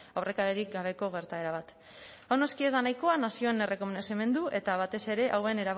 aurrekaririk gabeko gertaera bat hau noski ez da nahikoa nazioen errekonozimendu eta batez ere hauen